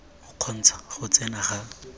o kgontsha go tsena ga